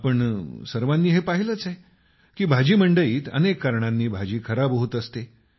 आपण सर्वांनी हे पाहिलंच आहे की भाजी मंडईत अनेक कारणांनी भाजी खराब होत असते